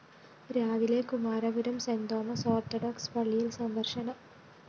രാവിലെ Kumarapuram St Thomas Orthodox പള്ളിയില്‍ സന്ദര്‍ശനം